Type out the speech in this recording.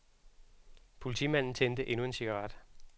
Politimanden tændte endnu en cigaret.